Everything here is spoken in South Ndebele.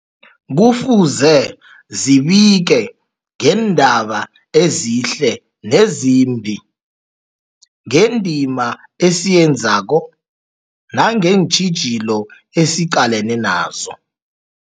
Kufuze zibike ngeendaba ezihle nezimbi, ngendima esiyenzako nangeentjhijilo esiqalene nazo.